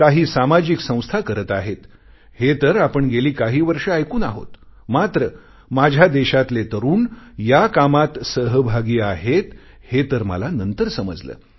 काही सामाजिक संस्था करत आहेत हे तर आपण गेली काही वर्षं ऐकून आहोत मात्र माझ्या देशातले तरुण या कामात सहभागी आहेत हे तर मला नंतर समजले